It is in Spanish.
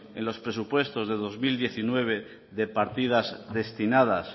en los presupuestos de dos mil diecinueve de partidas destinadas